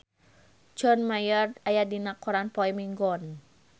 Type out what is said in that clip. John Mayer aya dina koran poe Minggon